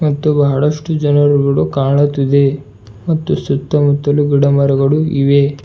ಮತ್ತು ಬಹಳಷ್ಟು ಜನರುಗಳು ಕಾಣುತ್ತಿದೆ ಮತ್ತು ಸುತ್ತಮುತ್ತಲು ಗಿಡ ಮರಗಳು ಇವೆ.